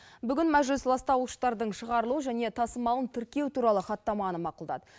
бүгін мәжіліс ластауыштардың шығарылуы және тасымалын тіркеу туралы хаттаманы мақұлдады